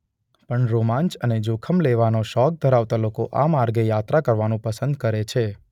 પણ રોમાંચ અને જોખમ લેવાનો શોખ ધરાવતા લોકો આ માર્ગે યાત્રા કરવાનું પસંદ કરે છે.